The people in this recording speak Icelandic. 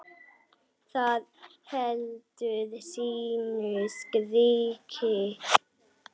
Það heldur sínu striki.